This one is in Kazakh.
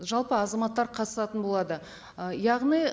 жалпы азаматтар қатысатын болады ы яғни